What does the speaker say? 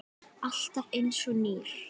Alltaf einsog nýr.